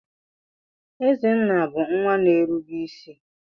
Ezenna bu nwa na-erube isi.